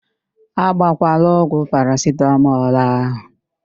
A gbọkwala ọgwụ parasitamọl ahụ!